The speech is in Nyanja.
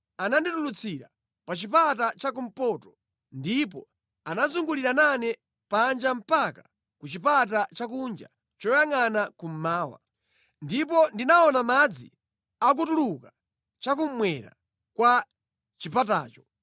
Ananditulutsira pa chipata chakumpoto ndipo anazungulira nane panja mpaka ku chipata chakunja choyangʼana kummawa. Ndipo ndinaona madzi akutuluka chakummwera kwa chipatacho.